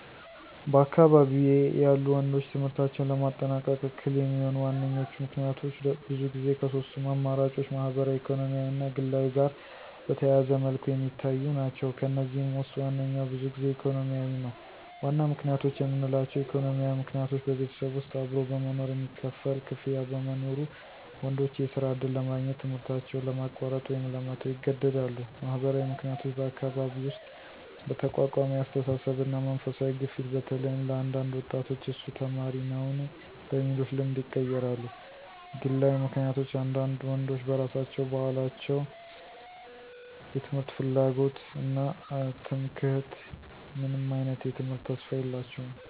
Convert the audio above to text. በአካባቢዬ ያሉ ወንዶች ትምህርታቸውን ለማጠናቀቅ እክል የሚሆኑ ዋነኞቹ ምክንያቶች ብዙ ጊዜ ከሶስቱም አማራጮች ማህበራዊ ኢኮኖሚያዊ እና ግላዊ ጋር በተያያዘ መልኩ የሚታዩ ናቸው። ከእነዚህም ውስጥ ዋነኛው ብዙ ጊዜ ኢኮኖሚያዊ ነው። 1. ዋና ምክንያቶች የምንላቸው: ኢኮኖሚያዊ ምክንያቶች በቤተሰብ ውስጥ አብሮ በመኖር የሚከፈል ክፍያ በመኖሩ፣ ወንዶች የስራ ዕድል ለማግኘት ትምህርታቸውን ለማቋረጥ ወይም ለመተው ይገደዳሉ። 2. ማህበራዊ ምክንያቶች በአካባቢ ውስጥ በተቋቋመ የአስተሳሰብ እና መንፈሳዊ ግፊት በተለይም ለአንዳንድ ወጣቶች እሱ ተማሪ ነውን? በሚሉት ልምድ ይቀራሉ። 3. ግላዊ ምክንያቶች አንዳንድ ወንዶች በራሳቸው በአላቸው የትምህርት ፍላጎት እና ትምክህት ምንም አይነት የትምህርት ተስፋ የላቸውም።